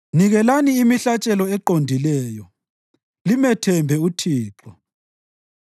Nikelani imihlatshelo eqondileyo, limethembe uThixo.